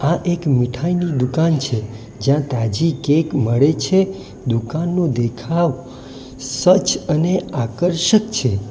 આ એક મીઠાઈની દુકાન છે જ્યાં તાજી કેક મળે છે દુકાનનું દેખાવ સ્વચ્છ અને આકર્ષક છે.